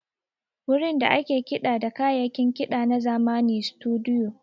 Wurin da ake kiɗa da kayayyakin kiɗa na zamani Situdiyo.